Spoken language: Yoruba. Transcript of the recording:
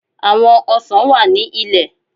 À̀wọn ọsàn wà ní ilẹ.